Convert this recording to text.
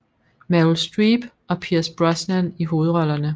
Meryl Streep og Pierce Brosnan i hovedrollerne